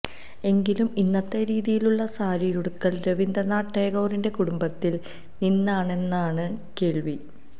എങ്കിലും ഇന്നത്തെ രീതിയിലുള്ള സാരിയുടുക്കല് രവീന്ദ്രനാഥ ടാഗോറിന്റെ കുടുംബത്തില് നിന്നാണെന്നാണ് കേള്വി